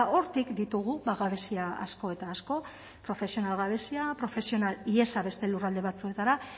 hortik ditugu gabezia asko eta asko profesional gabezia profesional ihesa beste lurralde batzuetara